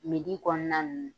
kɔnɔna na ninnu